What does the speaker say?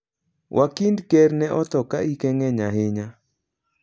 Wakind ker ne otho ka hike ng'eny ahinya.